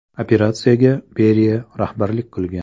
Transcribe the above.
Operatsiyaga Beriya rahbarlik qilgan.